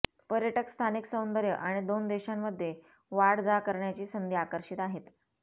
पर्यटक स्थानिक सौंदर्य आणि दोन देशांमध्ये वाढ जा करण्याची संधी आकर्षित आहेत